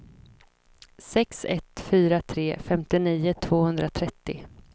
sex ett fyra tre femtionio tvåhundratrettio